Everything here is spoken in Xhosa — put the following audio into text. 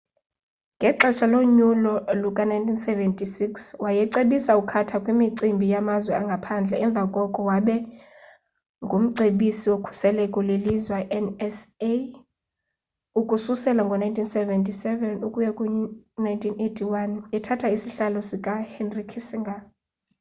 ngexesha lonyulo luka-1976 wayecebisa ucarter kwimicimbi yamazwe angaphandle emva koko waba ngumcebisi wokhuseleko lelizwe nsa ukususela ngo-1977 ukuya ku-1981 ethatha isihlalo sikahenry kissinger